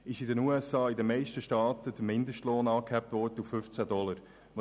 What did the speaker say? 2015/16 wurde in den USA in den meisten Staaten der Mindestlohn auf 15 Dollars angehoben.